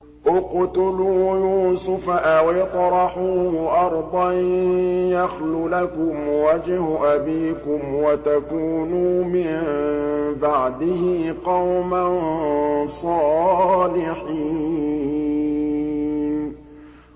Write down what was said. اقْتُلُوا يُوسُفَ أَوِ اطْرَحُوهُ أَرْضًا يَخْلُ لَكُمْ وَجْهُ أَبِيكُمْ وَتَكُونُوا مِن بَعْدِهِ قَوْمًا صَالِحِينَ